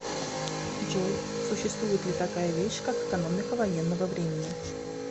джой существует ли такая вещь как экономика военного времени